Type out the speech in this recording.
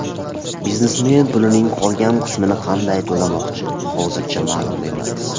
Biznesmen pulning qolgan qismini qanday to‘lamoqchi, hozircha ma’lum emas.